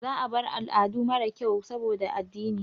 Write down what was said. Za a bar al'adu mara kyau saboda addini.